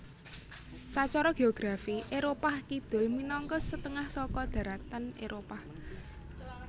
Sacara geografi Éropah Kidul minangka setengah saka dharatan Éropah